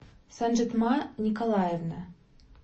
санжитма николаевна